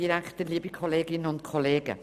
Wir kommen zu den Fraktionssprechenden.